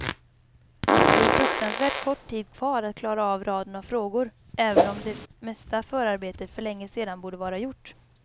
Det är fruktansvärt kort tid kvar att klara av raden av frågor, även om det mesta förarbetet för länge sedan borde vara gjort.